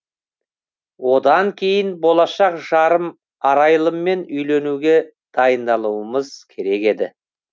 одан кейін болашақ жарым арайлыммен үйленуге дайындалуымыз керек еді